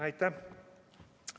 Aitäh!